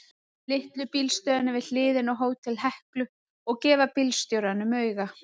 Litlu bílstöðina við hliðina á Hótel Heklu og gefa bílstjórunum auga.